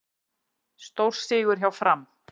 Stórsigur hjá Fram